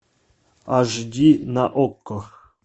аш ди на окко